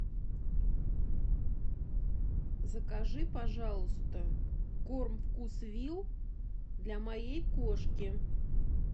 закажи пожалуйста корм вкусвилл для моей кошки